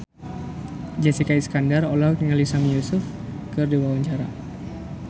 Jessica Iskandar olohok ningali Sami Yusuf keur diwawancara